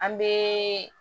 An bɛ